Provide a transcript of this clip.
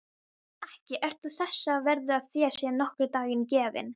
Ekki ertu þess verður að þér sé nokkur dagur gefinn.